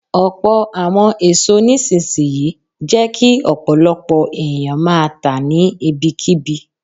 Ọ̀pọ̀ àwọn èso nísinsìnyí jẹ́ kí ọ̀pọ̀lọpọ̀ ẹ̀yàn máa tà á ní ibi kí bi.